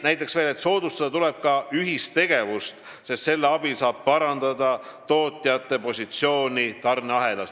Näiteks veel see, et tuleb soodustada ühistegevust, sest selle abil saab parandada tootjate positsiooni tarneahelas.